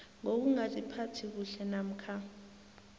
ngokungaziphathi kuhle namkha